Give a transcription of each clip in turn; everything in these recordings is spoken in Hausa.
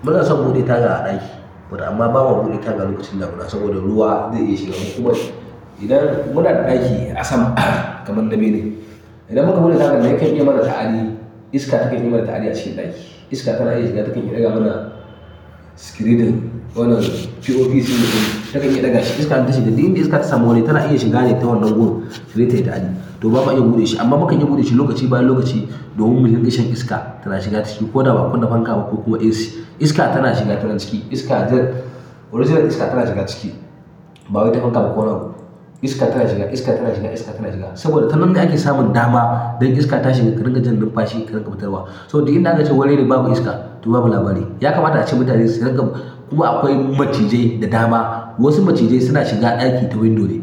Muna son buɗe taga a ɗaki, amma ba ma buɗe taga lokacin damuna saboda ruwa zai iya shiga. Kuma idan muna da ɗaki a sama kamar na bene, idan muka buɗe taga nan, ya kan iya mana ta'adi? Iska take yi mana ta'adi a cikin ɗaki. Iska tana iya shiga ta kan iya ɗaga mana screeding wannan POP ceiling din mu. Takan iya ɗaga shi. Iska in ta shiga duk inda iska ta samu waje tana iya shiga ta wannan gun taje ta yi ta'adi. To ba ma iya buɗe shi amma mukan iya buɗe shi lokaci bayan lokaci domin mu din ga shan iska tana shiga ciki ko da baa kunna fanka ba ko kuma AC. Iska tana shiga ta nan ciki. Iska original iska tana shiga ciki ba wai ta fanka ba ko wani abu. Iska tana shiga, iska tana shiga, iska tana shiga saboda tanan ne ake samun dama don iska ta shiga ka rinƙa jin numfashi ka rinƙa fitarwa. So duk inda aka ce wuri ne babu iska, to babu labari. Ya kamata a ce mutane su rinka kuma akwai macizai da dama. Wasu macizai suna shiga ɗaki ta window ne,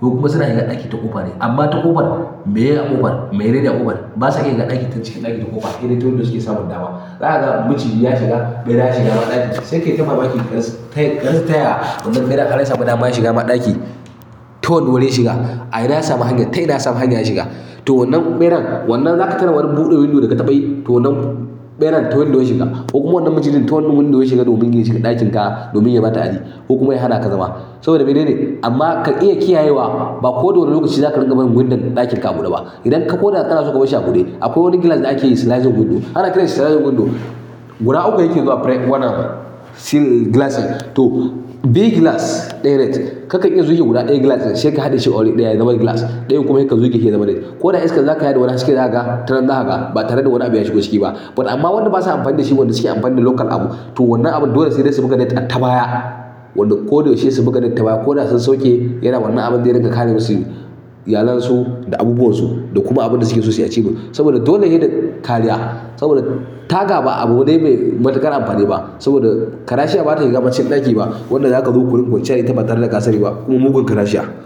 wasu kuma suna shiga ɗaki ta ƙofa ne. Amma ta ƙofar, meye a ƙofar, mai nene a ƙofar basa iya shiga ɗaki ta cikin ɗaki ta ƙofa. Sai dai ta window suke samun dama. Za kaga maciji ya shiga, ɓera ya shiga ma ɗakin shi. Sai ka yi ta mamaki ka ras, karasa taya wannan ɓeran har ya sami dama ya shiga ma ɗaki. Ta wanne wurin shiga. A ina ya samu hanyar, ta ina ya samu hanya ya shiga. To wannan ɓeran, wannan zaka tuna wani buɗe window da ka taɓa yi. To wannan ɓeran ta window ya shiga. Ko kuma wannan macijin ta wannan window shiga domin ya shiga ɗakin ka domin yayi ma ta'adi. Ko kuma ya hana ka zama saboda mene ne. Amma ka iya kiyayewa ba koda wane lokaci zaka dinga barin window ɗakin ka a buɗe ba idan ka ko da ƙana so ka bar shi a buɗe, akwai wani glass da ake yi sliding window. Ana kiransa sliding window. Guda uku yake zuwa fare wannan seal glass din. To, biyu glass ɗaya net. Ka kan iya zuge guda ɗaya glass din sai ka haɗe shi a wuri ɗaya ya zama glass ɗayan kuma sai ka zuge shi ya zama net. Ko da iskar za ka sha da wani haske da zaka ga, ta nan zaka ga ba tare da wani abu ya shigo ciki ba. Amma wanda basa amfani da shi wanda suke amfani da local abu. To wannan abun dole sai dai su buga net a tabaya. Wanda ko da yaushe su buga net tabaya ko da sun sauke yana wannan abun zai ringa kare masu iyalansu da abubuwansu da kuma abin da suke so suyi a ciki. Saboda dole yayi da kariya saboda taga ba a buɗe ba abu ne mai matuƙar amfani ba saboda karashiya bata shiga cikin ɗaki ba. Wanda zaka zo ku ringa kwanciya da ita ba tare da ka sani ba kuma mugun karashiya.